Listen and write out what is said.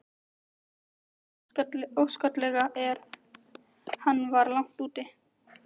Mikið óskaplega sem hann var langt úti.